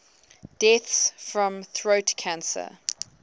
deaths from throat cancer